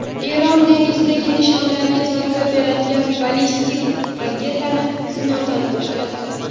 Eron dengizdagi nishonlarga zarba beradigan ballistik raketani sinovdan o‘tkazdi.